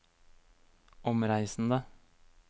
omreisende